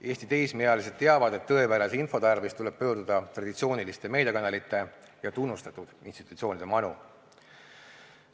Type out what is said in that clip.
Eesti teismeealised teavad, et tõepärase info tarvis tuleb pöörduda traditsiooniliste meediakanalite ja tunnustatud institutsioonide manu.